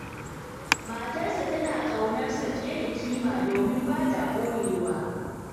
Matarsa tana ƙaunar sa fiye da kima, domin ba ta ɓoyewa.